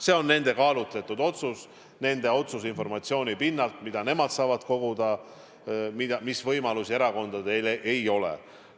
See on nende kaalutletud otsus, nende otsus informatsiooni pinnalt, mida nemad saavad koguda, mis võimalusi erakondadel ei ole.